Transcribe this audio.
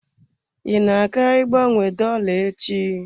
I na-aga ịgbanwe dolla echi?